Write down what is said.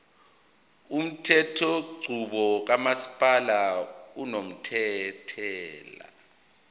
umthethonqubo kamasipala unomthelela